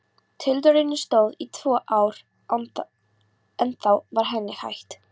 Tilraunin stóð í tvö ár en þá var henni hætt.